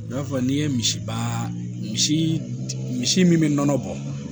I b'a fɔ n'i ye misibaa misi misi min bɛ nɔnɔ bɔ